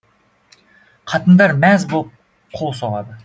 қатындар мәз боп қол соғады